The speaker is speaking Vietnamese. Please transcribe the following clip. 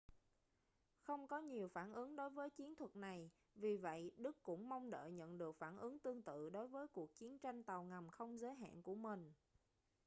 không có nhiều phản ứng đối với chiến thuật này vì vậy đức cũng mong đợi nhận được phản ứng tương tự đối với cuộc chiến tranh tàu ngầm không giới hạn của mình